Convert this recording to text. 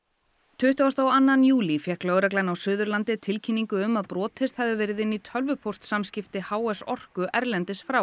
tuttugasta og annan júlí fékk lögreglan á Suðurlandi tilkynningu um að brotist hefði verið inn í tölvupóstsamskipti h s orku erlendis frá